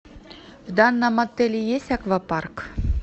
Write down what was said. в данном отеле есть аквапарк